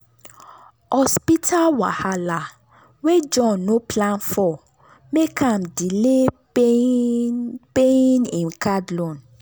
hospital wahala wey john no plan for make am delay paying paying him card loan.